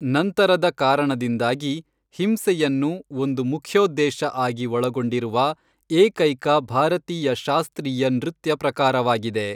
ನಂತರದ ಕಾರಣದಿಂದಾಗಿ, ಹಿಂಸೆಯನ್ನು ಒಂದು ಮುಖ್ಯೋದ್ದೇಶ ಆಗಿ ಒಳಗೊಂಡಿರುವ ಏಕೈಕ ಭಾರತೀಯ ಶಾಸ್ತ್ರೀಯ ನೃತ್ಯ ಪ್ರಕಾರವಾಗಿದೆ.